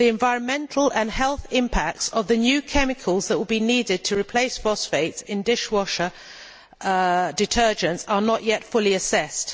The environmental and health impacts of the new chemicals that will be needed to replace phosphates in dishwasher detergents are not yet fully assessed.